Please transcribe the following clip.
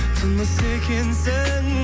тынысы екенсің